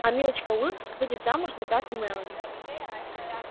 а милочка уилкс выйдет замуж за брата мелани